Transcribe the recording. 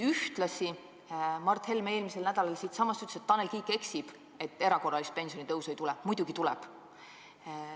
Ühtlasi ütles Mart Helme siinsamas eelmisel nädalal, et Tanel Kiik eksib, kui väidab, et erakorralist pensionitõusu ei tule – muidugi tuleb.